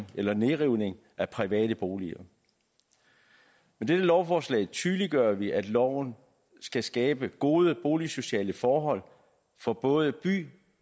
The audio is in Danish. eller nedrivning af private boliger med dette lovforslag tydeliggør vi at loven skal skabe gode boligsociale forhold for både by